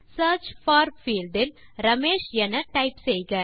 search for field இல் ரமேஷ் என type செய்க